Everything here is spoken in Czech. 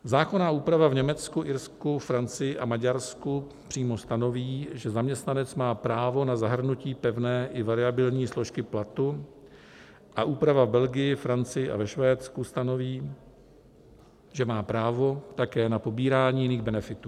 Zákonná úprava v Německu, Irsku, Francii a Maďarsku přímo stanoví, že zaměstnanec má právo na zahrnutí pevné i variabilní složky platu, a úprava v Belgii, Francii a ve Švédsku stanoví, že má právo také na pobírání jiných benefitů.